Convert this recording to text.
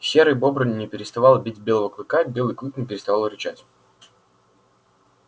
серый бобр не переставал бить белого клыка белый клык не переставал рычать